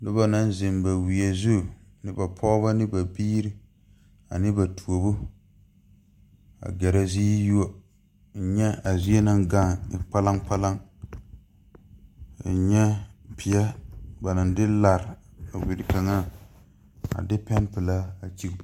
Nobɔ naŋ zeŋ ba wie zu ne ba pɔɔbɔ ne ba biire ane ba tuobo a gɛrɛ zi yuo nyɛ a zie naŋ gaŋ e kpalaŋkpalaŋ n nyɛ peɛ ba naŋ de lare a wiri kaŋa a de pɛnpilaa a kyige.